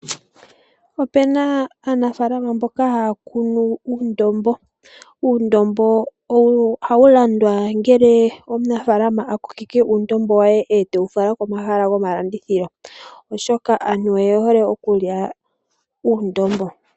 Opena aanafaalama mboka haya kunu uundombo. Uundombo ohawu landwa ngele omunafaalama akokeke uundombo we etewu fala komahala go malandithilo oshoka aantu oyehole okukya uundombo.